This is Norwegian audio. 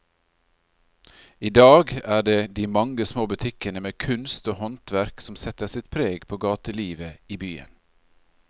I dag er det de mange små butikkene med kunst og håndverk som setter sitt preg på gatelivet i byen.